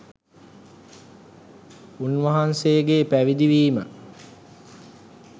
උන්වහන්සේගේ පැවිදි වීම